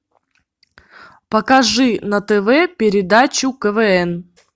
покажи на тв передачу квн